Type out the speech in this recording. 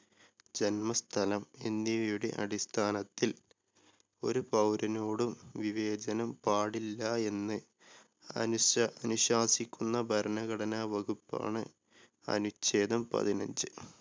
ജന്മസ്ഥലം എന്നിവയുടെ അടിസ്ഥാനത്തിൽ ഒരു പൗരനോടും വിവേചനം പാടില്ല എന്ന് അനുശാ അനുശാസിക്കുന്ന ഭരണഘടനാ വകുപ്പാണ് അനുഛേദം പതിനഞ്ച്.